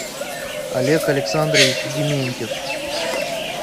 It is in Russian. олег александрович дементьев